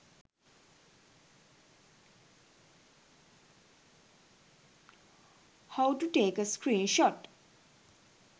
how to take a screenshot